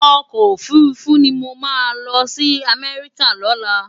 Òkò ófúrúfú ni mó má lòsi Amèriká lòlá